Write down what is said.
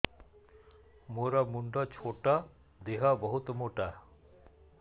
ମୋର ମୁଣ୍ଡ ଛୋଟ ଦେହ ବହୁତ ମୋଟା